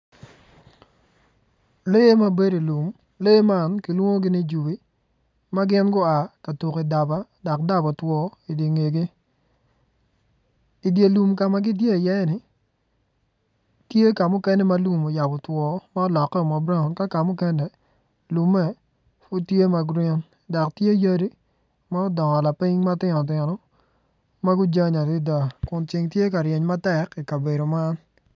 Lee ma bedo i lum lee man kilwongi ni jobi gin gua ka tuko i daba dok daba otwo idi ngegi idye lum ka ma gitye iye-ni tye ka mukene ma lum oyabo two ma olokeo ma braun ka ka mukene lumme pud tye ma grin dok tye yadi ma odongo lapiny matino tino ma gujany adada kun ceng tye ka ryeny matek i kabedo man.